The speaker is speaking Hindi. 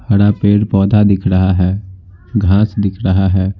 हरा पेड़ पौधा दिख रहा है घास दिख रहा है।